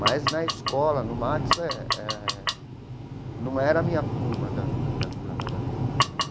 Mas, na escola, no Max, eh não era a minha turma da da Vila Madalena.